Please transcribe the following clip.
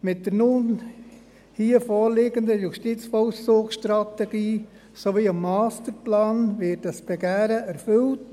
Mit der nun hier vorliegenden JVS sowie dem Masterplan wird dieses Begehren erfüllt.